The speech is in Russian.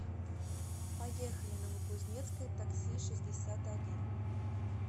поехали новокузнецкое такси шестьдесят один